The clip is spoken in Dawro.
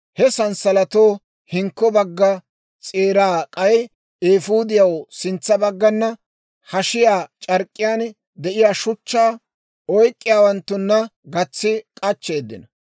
He sanssalatatoo hinkko bagga s'eeraa k'ay eefuudiyaw sintsa baggana, hashiyaa c'ark'k'iyaan de'iyaa shuchchaa oyk'k'iyaawanttuna gatsi k'achcheeddinno.